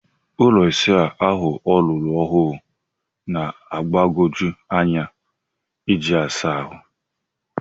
Ụlọ ịsa ahụ ọlọrọ ọhụrụ na-agbagoju anya iji asa ahụ.